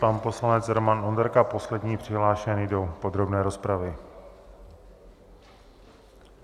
Pan poslanec Roman Onderka, poslední přihlášený do podrobné rozpravy.